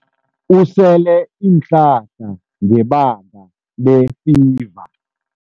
Usele iinhlahla ngebanga lefiva.